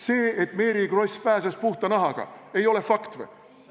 See, et Mary Kross pääses puhta nahaga, ei ole fakt või?